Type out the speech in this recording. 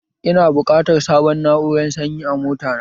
Ina buƙatan sabun na'urar sanyi a mota na